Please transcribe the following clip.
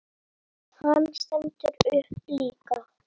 Hann stendur líka upp.